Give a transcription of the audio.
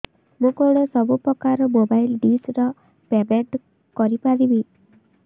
ମୁ କଣ ସବୁ ପ୍ରକାର ର ମୋବାଇଲ୍ ଡିସ୍ ର ପେମେଣ୍ଟ କରି ପାରିବି